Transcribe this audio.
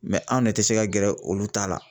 Mɛ anw ne te se ka gɛrɛ olu ta la